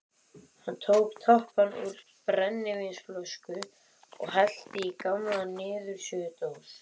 Hann tók tappann úr brennivínsflösku og hellti í gamla niðursuðudós.